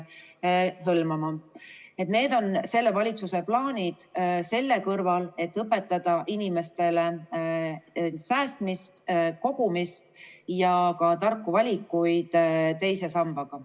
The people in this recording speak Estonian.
Nii et need on selle valitsuse plaanid selle kõrval, et õpetada inimestele säästmist, kogumist ja ka tarku valikuid teise sambaga.